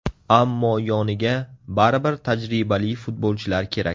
Ammo yoniga baribir tajribali futbolchilar kerak.